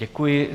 Děkuji.